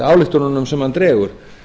ályktunum sem hann dregur